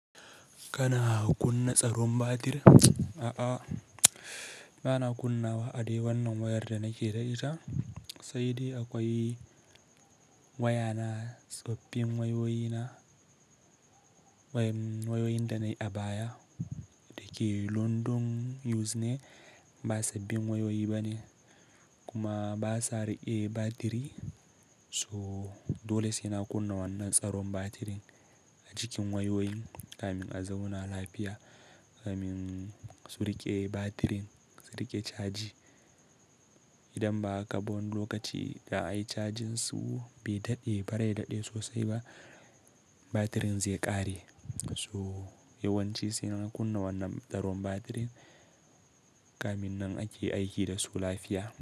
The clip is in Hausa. Kana kunna tsaron batir? A'a, bana kunna wa a dai wannan wayar da nake da ita. Sai dai akwai waya na sabbin wayoyi na, wayoyin da na yi abaya da ke London used ne, ba sabbin wayoyi ba ne kuma ba su riƙe batiri. So dole sai na kunna wannan tsaron batirin a cikin wayoyi kamin a zauna lafiya, kamin su riƙe batirin, su riƙe caji. Idan ba haka ba wani lokaci da ai cajin su bai daɗe ba, bai daɗe sosai ba, batirin zai ƙare. So yawanci sai na kunna wannan tsaron batirin kamin nan ake aiki da su lafiya.